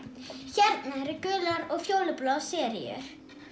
hérna eru gular og fjólubláar seríur